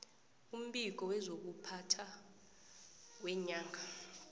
umbiko wezokuphatha weenyanga